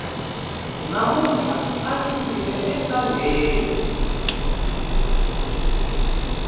mamuntlha andzi yile entangeni